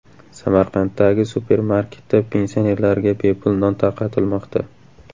Samarqanddagi supermarketda pensionerlarga bepul non tarqatilmoqda.